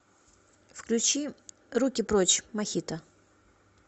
включи руки прочь мохито